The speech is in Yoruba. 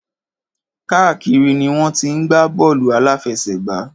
Káàkiri ni wọ́n ti ń gbá bọ́ọ̀lù àláfẹsẹ̀gbá.